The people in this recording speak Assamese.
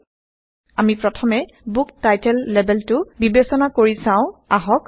160আমি প্ৰথমে বুক টাইটেল লেবেলটো বিবেচনা কৰি চাওআহক